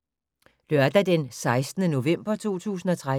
Lørdag d. 16. november 2013